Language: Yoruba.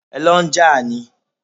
Ẹ lọ n jà ni?